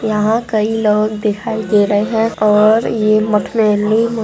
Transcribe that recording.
यहा कई लोग दिखाई दे रहे है और ये मठ --